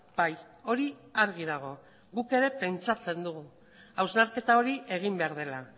bai hori argi dago guk ere pentsatzen dugu hausnarketa hori egin behar dela